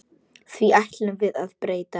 Því ætlum við að breyta.